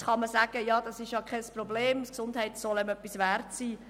Nun kann man sagen, das sei ja kein Problem, Gesundheit solle auch etwas wert sein.